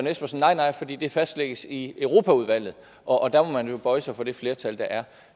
espersen nej nej fordi det fastlægges i europaudvalget og og der må man jo bøje sig for det flertal der er